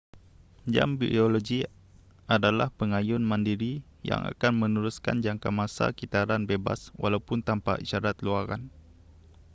jam biologi adalah pengayun mandiri yang akan meneruskan jangkamasa kitaran bebas walaupun tanpa isyarat luaran